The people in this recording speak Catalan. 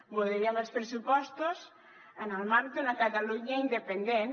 voldríem els pressupostos en el marc d’una catalunya independent